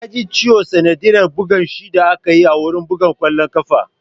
Ya ji ciwo sanadiyyar buga shi da akayi wurin buga ƙwallon ƙafa